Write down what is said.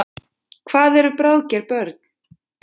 Hvað eru bráðger börn?